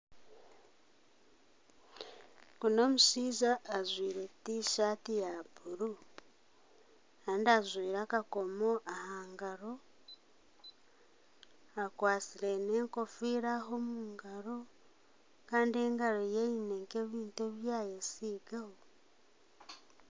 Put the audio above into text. Ogu n'omushaija ajwire T-shati ya buru kandi ajwire akakomo aha ngaro akwasire n'enkofira aha omu ngaro kandi engaro ye aine nk'ebintu ebi yayesigaho.